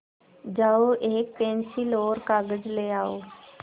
जाओ एक पेन्सिल और कागज़ ले आओ